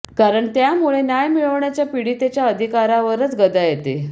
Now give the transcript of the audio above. कारण त्यामुळे न्याय मिळवण्याच्या पीडितेच्या अधिकारावरच गदा येते